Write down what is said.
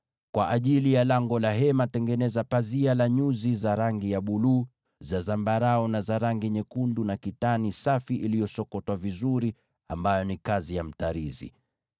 “Kwa ajili ya ingilio la hema, tengeneza pazia la nyuzi za rangi ya buluu, za zambarau, na za rangi nyekundu na kitani safi iliyosokotwa vizuri, kazi ya mtarizi.